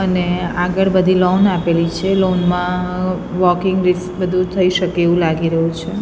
અને આગળ બધી લૉન આપેલી છે લૉન મા વોકિંગ બધુ થઇ શકે એવુ લાગી રહ્યુ છે.